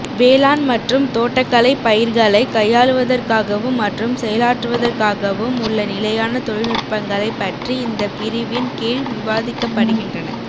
வேளாண் மற்றும் தோட்டக்கலை பயிர்களை கையாளுவதற்காகவும் மற்றும் செயலாற்றுவதற்காகவும் உள்ள நிலையான தொழில்நுட்பங்களைப் பற்றி இந்த பிரிவின் கீழ் விவாதிக்கப்படுகின்றன